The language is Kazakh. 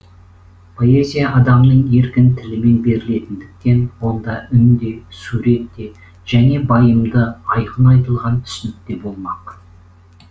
поэзия адамның еркін тілімен берілетіндіктен онда үн де сурет те және байымды айқын айтылған түсінік те болмақ